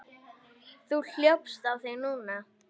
Þú hljópst á þig núna.